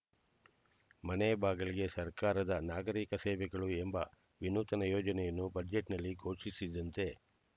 ಮನೆ ಬಾಗಿಲಿಗೆ ಸರ್ಕಾರದ ನಾಗರೀಕ ಸೇವೆಗಳು ಎಂಬ ವಿನೂತನ ಯೋಜನೆಯನ್ನು ಬಜೆಟ್‌ನಲ್ಲಿ ಘೋಷಿಸಿದ್ದಂತೆ